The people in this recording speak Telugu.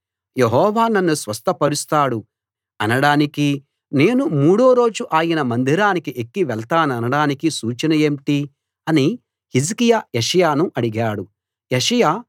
యెహోవా నన్ను స్వస్థపరుస్తాడు అనడానికీ నేను మూడో రోజు ఆయన మందిరానికి ఎక్కి వెళ్తాననడానికీ సూచన ఏంటి అని హిజ్కియా యెషయాను అడిగాడు యెషయా